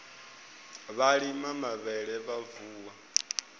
vha lima mavhele vha vuwa